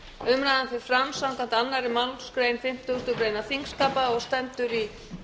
umræðan fer fram samkvæmt annarri málsgrein fimmtugustu grein þingskapa og stendur í